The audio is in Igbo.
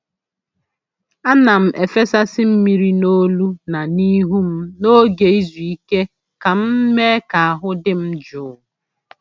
A na'm efesasị mmiri n’olu na ihu m n’oge izu ike ka m mee ka ahụ m dị jụụ.